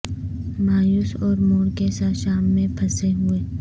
مایوس اور موڑ کے ساتھ شام میں پھنسے ہوئے